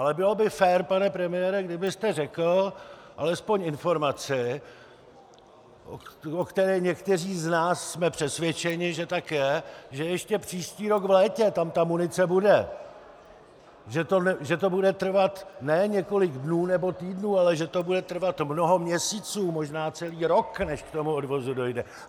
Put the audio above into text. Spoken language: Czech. Ale bylo by fér, pane premiére, kdybyste řekl alespoň informaci, o které někteří z nás jsme přesvědčeni, že tak je, že ještě příští rok v létě tam ta munice bude, že to bude trvat ne několik dnů nebo týdnů, ale že to bude trvat mnoho měsíců, možná celý rok, než k tomu odvozu dojde.